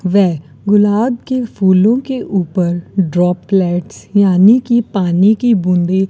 वे गुलाब के फूलों के ऊपर ड्रॉपलेट्स यानी की पानी की बूंदे --